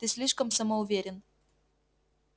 ты слишком самоуверен